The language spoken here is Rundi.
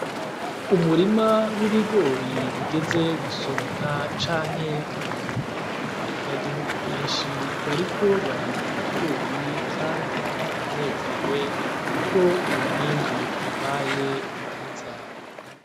Umurima w'ibigori bigeze gusoramwa canke kwimburwa abanyagihugu Benshi bariko barimbura ibigori Kandi baranezerewe, Kuko umwimbu wabaye mwiza.